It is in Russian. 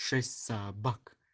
шесть собак